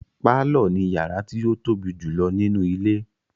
Pálọ̀ ni yàrá tí ó tóbi jùlọ nínú ilé.